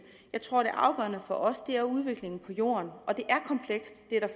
jeg tror at det afgørende for os er udviklingen på jorden